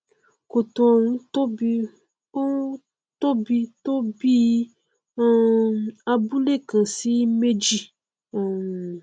kòtò ọhún tóbi ọhún tóbi tó bíi um abúle kan sí méjì um